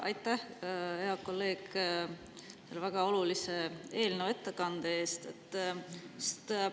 Aitäh, hea kolleeg, selle väga olulise eelnõu ettekandmise eest!